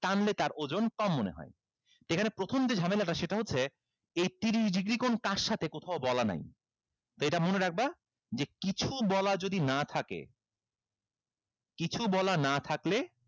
টানলে তার ওজন কম মনে হয় এখানে প্রথম যে ঝামেলাটা সেটা হচ্ছে এই তিরিশ degree কোণ কার সাথে কোথাও বলা নাই তো এটা মনে রাখবা যে কিছু বলা যদি না থাকে কিছু বলা না থাকলে